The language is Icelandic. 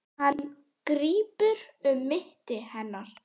Hann grípur um mitti hennar.